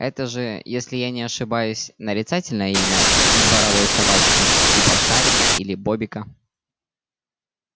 это же если я не ошибаюсь нарицательное имя дворовой собачки типа шарика или бобика